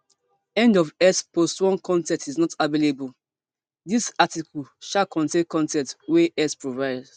end of x post one con ten t is not available dis article um contain con ten t wey x provide